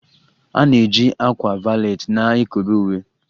A na-eji ákwà valet na-ekobe uwe